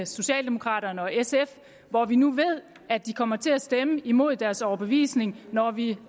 socialdemokraterne og sf hvor vi nu ved at de kommer til at stemme imod deres overbevisning når vi